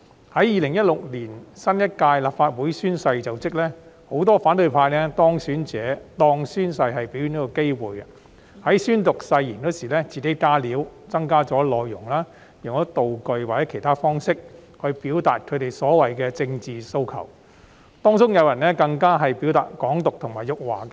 在2016年新一屆立法會宣誓就職時，很多反對派當選者將宣誓當成表演的機會，在宣讀誓言時自行"加料"增加內容、用道具或其他方式表達所謂的政治訴求，當中更有人宣揚"港獨"及辱華。